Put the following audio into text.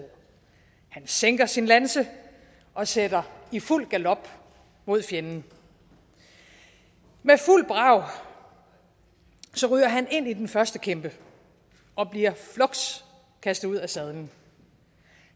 han sænker sin lanse og sætter i fuld galop mod fjenden med fuld brag ryger han ind i den første kæmpe og bliver fluks kastet ud af sadlen